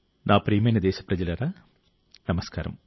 నా ప్రియమైన దేశప్రజలారా నమస్కారం